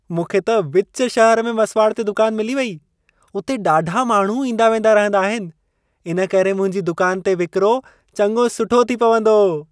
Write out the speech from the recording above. मूंखे त विच शहर में मसिवाड़ ते दुकान मिली वेई। उते ॾाढा माण्हू ईंदा-वेंदा रहंदा आहिनि। इन करे मुंहिंजी दुकान ते विकिरो चङो सुठो थी पवंदो।